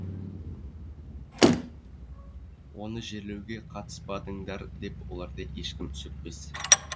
оны жерлеуге қатыспадыңдар деп оларды ешкім сөкпес